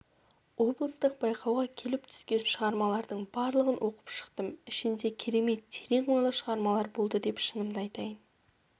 облыстық байқауға келіп түскен шығармалардың барлығын оқып шықтым ішінде керемет терең ойлы шығармалар болды шынымды айтайын